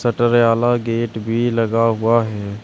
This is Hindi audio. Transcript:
शटर आला गेट भी लगा हुआ है।